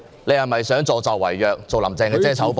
你是否想助紂為虐，做"林鄭"的遮醜布呢？